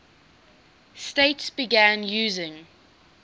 states began using